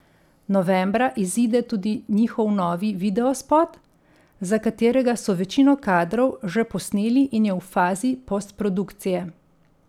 Novembra izide tudi njihov novi videospot, za katerega so večino kadrov že posneli in je v fazi postprodukcije.